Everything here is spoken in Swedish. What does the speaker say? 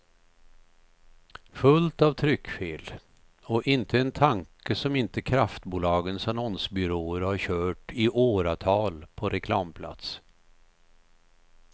Fullt av tryckfel och inte en tanke som inte kraftbolagens annonsbyråer har kört i åratal på reklamplats.